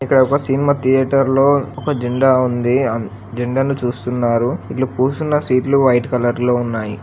ఇక్కడ ఒక cinema theatre లో ఒక జెండా ఉంది ఆ జెండాను చూస్తున్నారు. ఇలు కూసున్న సీట్లు వైట్ కలర్ లో ఉన్నాయి.